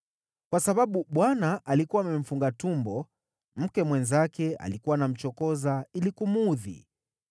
Kwa sababu Bwana alikuwa amemfunga tumbo, mke mwenzake alikuwa anamchokoza ili kumuudhi.